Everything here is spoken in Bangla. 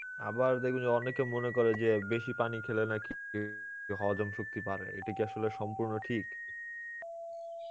আবার দেখবেন যে অনেকে মনে করে যে বেশি পানি খেলে নাকি হজম শক্তি বাড়ে, এটা কী আসলে সম্পুর্ন্ন ঠিক?